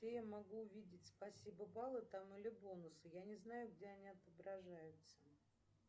где я могу увидеть спасибо баллы там или бонусы я не знаю где они отображаются